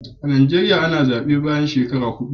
A Najeriya ana zaɓe bayan ko wace shekara huɗu.